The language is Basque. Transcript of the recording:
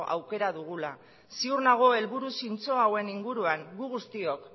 aukera dugula ziur nago helburu zintzo hauen inguruan gu guztiok